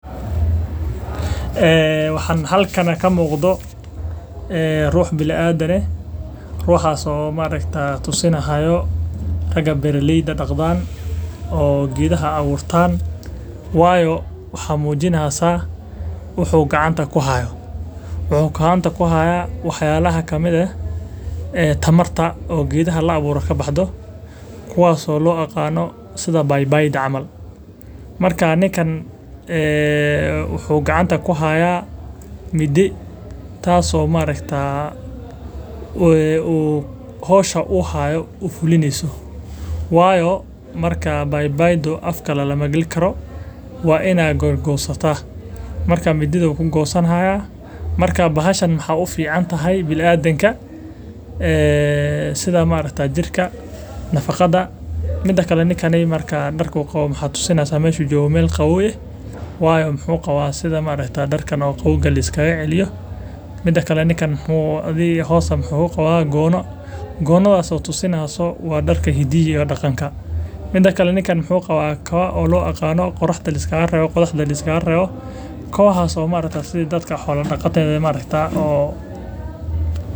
Waxaa halkan kasocdaa mudaaharaad dadka aay uwanagsan yahay hadane wax layiraahdo bahalaha godasha hagajineyso wuuna badani wuu soo gurte ama mid farsamo ujeedada ayaa kuwaas oo loo aqaano babayda camal wuxuu gacanta kuhaaya mindi waayo faka lamala gali Jaro waxaay ufican tahay biniadamka meel qaboow ayuu jooga waa darka hidaha iyo daqanka waa kawa qodaxda liskaaga reebo.